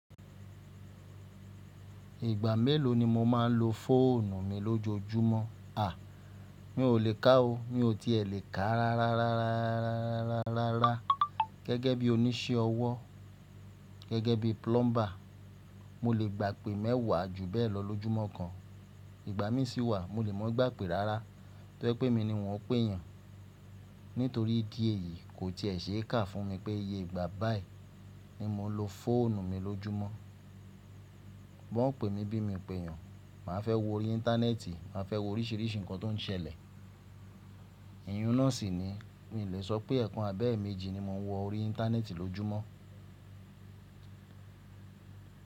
Ìgbà mélòó ni mo máa ń lo fóònù mi lójoojúmọ́? À, mi ò lè kà o. Mi ò tí è lè kà ráráárárárárá gẹ́gẹ́ bí oníṣẹ́ ọwọ́ gẹ́gẹ́ bí plumber. Mo lè gbàpè mẹ́wàá ju bẹ́ẹ̀ lọ lójúmọ́ kan, ìgbà mí sì wà mo lè mọ ìgbàpè rárá tó ye pé emi ni wọ́n péèyàn. Nítorí ìdí èyí kò tí è ṣe é kà fún mi pé iye ìgbà báì ni mo ń lo fóònù mi lójúmọ́. Bí wọ́n pè mí bí mo pèèyàn, màá fẹ́ wo orí íńtánẹ́ẹ̀tì, màá fẹ́ wo oríṣìíríṣìí nǹkan tó ń ṣẹlẹ̀. Iyún náà sì ni mi lè sọ pé ẹẹ́kan abẹ́ẹ̀méjì ni mo ń wọ orí íńtánẹ́ẹ̀tì lójúmọ́.